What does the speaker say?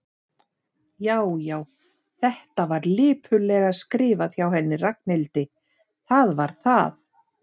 Já, já, þetta var lipurlega skrifað hjá henni Ragnhildi, það var það.